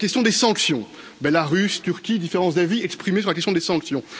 La question des sanctions Bélarus, Turquie, différences d'avis exprimés sur la question des sanctions.